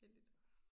Heldigt